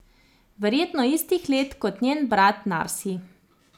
Verjetno istih let kot njen brat Narsi.